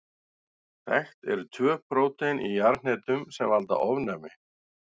Þekkt eru tvö prótein í jarðhnetum sem valda ofnæmi.